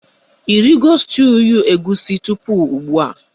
Ị rigo stuuyu egusi tupu ugbua?